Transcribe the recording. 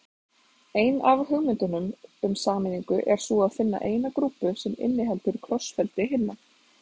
Ein af hugmyndunum um sameiningu er sú að finna eina grúpu sem inniheldur krossfeldi hinna.